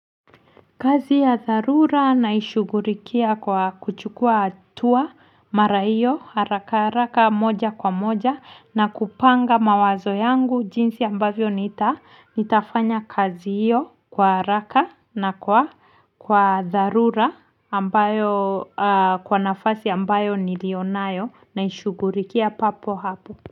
Kazi ya dharura naishughulikia kwa kuchukua hatua mara iyo haraka haraka moja kwa moja na kupanga mawazo yangu jinsi ambavyo nita nitafanya kazi iyo kwa haraka na kwa kwa dharura ambayo kwa nafasi ambayo niliyonayo naishughulikia papo hapo.